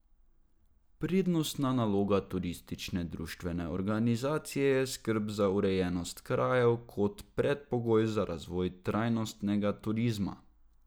Prednostna naloga turistične društvene organizacije je skrb za urejenost krajev kot predpogoj za razvoj trajnostnega turizma.